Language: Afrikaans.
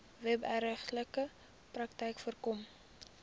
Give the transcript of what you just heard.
wederregtelike praktyke voorkom